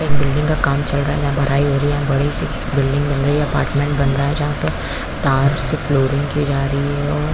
एक बिल्डिंग का काम चल रहा है जहाँ बड़ाई हो रही है बड़े से बिल्डिंग बन रही है अपार्टमेंट बन रहा है जहाँ पर तार से फ्लोअरिंग की जा रही है और --